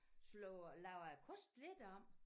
Slår laver æ kost lidt om